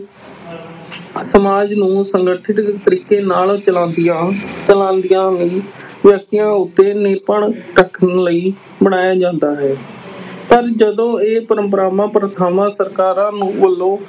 ਸਮਾਜ ਨੂੰ ਸੰਗਠਿਤ ਤਰੀਕੇ ਨਾਲ ਚਲਾਉਂਦੀਆਂ ਚਲਾਉਂਦੀਆਂ ਲਈ ਵਿਅਕਤੀਆਂ ਉੱਤੇ ਨਿਯੰਤਰਣ ਰੱਖਣ ਲਈ ਬਣਾਇਆ ਜਾਂਦਾ ਹੈ ਪਰ ਜਦੋਂ ਇਹ ਪਰੰਪਰਾਵਾਂ, ਪ੍ਰਥਾਵਾਂ ਸਰਕਾਰਾਂ ਨੂੰ ਵਲੋਂ